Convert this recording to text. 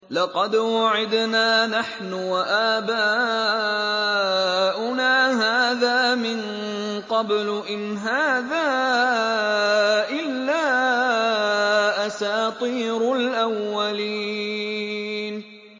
لَقَدْ وُعِدْنَا نَحْنُ وَآبَاؤُنَا هَٰذَا مِن قَبْلُ إِنْ هَٰذَا إِلَّا أَسَاطِيرُ الْأَوَّلِينَ